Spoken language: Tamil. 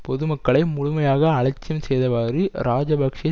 பொதுமக்களை முழுமையாக அலட்சியம் செய்தவாறு இராஜபக்ஷ